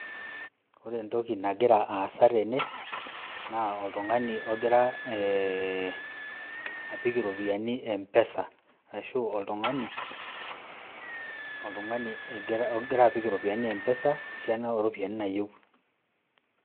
Ore entoki nagira aasa tene naa oltung'ani ogira ee apik iropiani m-pesa, arashu oltung'ani egira ogira apik iropiani mpesa esiana o ropiani naayeu.